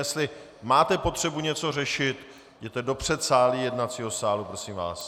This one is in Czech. Jestli máte potřebu něco řešit, jděte do předsálí jednacího sálu, prosím vás!